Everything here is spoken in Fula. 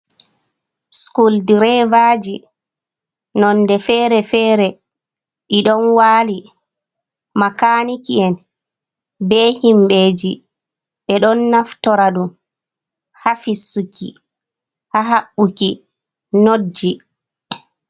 Sukul direvaji nonde fere-fere, ɗi ɗon wali makaniki'en be himbeji ɓeɗon naftora ɗum ha fissuki, ha haɓɓuki notji.